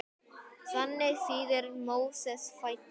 Þannig þýðir Móses fæddur.